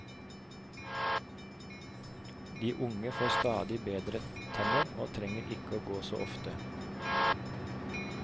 De unge får stadig bedre tenner og trenger ikke å gå så ofte.